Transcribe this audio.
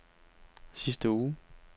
sidste uge